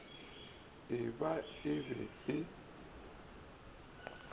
e ba e be e